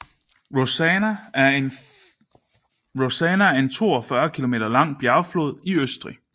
Rosanna er en 42 km lang bjergflod i Østrig